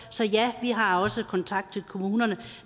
så ja vi har også kontakt til kommunerne